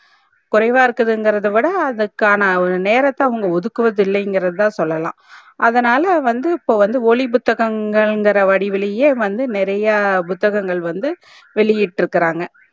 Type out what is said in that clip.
குறைவா இருக்கறது இங்கர்த்த விட அதுக்கான ஒரு நேரத்த அவங்க ஒதுக்குவது இல்லை இங்கர்தா சொல்லலாம் அதுனால வந்து இப்போ வந்து ஒலி புத்தகங்கள் இங்குற வடிவுளையே வந்து நெறையா புத்தகங்கள் வந்து வெளியிட்டரு காங்க